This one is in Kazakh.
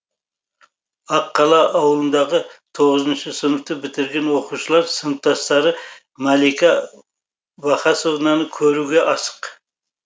ақ қала ауылындағы тоғызыншы сыныпты бітірген оқушылар сыныптастары малика вахасовнаны көруге асық